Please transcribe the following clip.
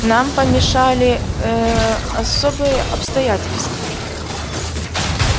нам помешали ээ особые обстоятельства